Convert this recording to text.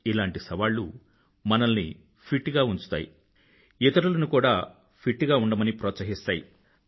ఇలాంటి సవాళ్ళు మనల్ని ఫిట్ గా ఉంచుతాయి ఇతరులని కూడా ఫిట్ గా ఉండమని ప్రోత్సహిస్తాయి